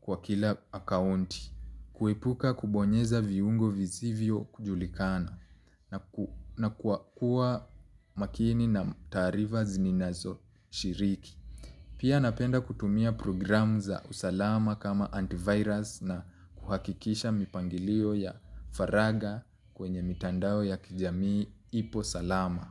kwa kila akaunti, kuepuka kubonyeza viungo vizivyo kujulikana na kuwa makini na taarifa ninazo shiriki. Pia napenda kutumia programu za usalama kama antivirus na kuhakikisha mipangilio ya faraga kwenye mtandao ya kijamii ipo salama.